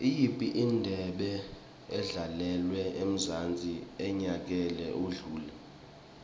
iyiphi indebe edlalelwe emzansi enyakeni odlule